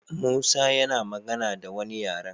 Musa yana magana da wani yaren